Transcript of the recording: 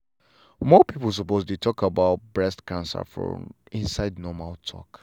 more people suppose dey talk about breast cancer for inside normal talk.